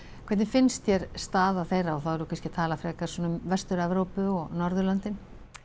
hvernig finnst þér staða þeirra og þá erum við kannski að tala frekar svona um Vestur Evrópu og Norðurlöndin